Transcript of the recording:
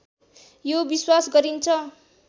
यो विश्वास गरिन्छ